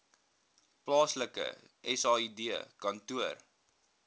plaaslike said kantoor